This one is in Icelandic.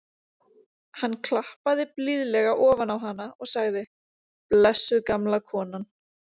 Hann klappaði blíðlega ofan á hana og sagði: blessuð gamla konan.